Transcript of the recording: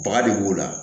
Baga de b'o la